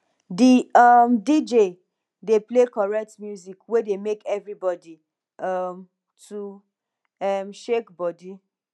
di um dj dey play correct music wey dey make everybodi um to um shake body